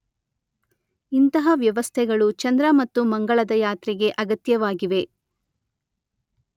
ಇಂತಹ ವ್ಯವಸ್ಥೆಗಳು ಚಂದ್ರ ಮತ್ತು ಮಂಗಳದ ಯಾತ್ರೆಗೆ ಅಗತ್ಯವಾಗಿವೆ.